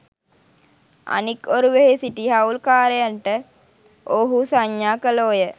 අනෙක් ඔරුවෙහි සිටි හවුල්කාරයන්ට ඔවුහු සංඥා කළෝ ය